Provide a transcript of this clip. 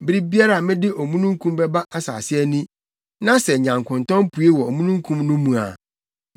Bere biara a mede omununkum bɛba asase ani, na sɛ nyankontɔn pue wɔ omununkum no mu a,